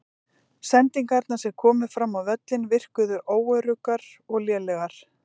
Sendingarnar sem komu fram á völlinn virkuðu óöruggar og lélegar.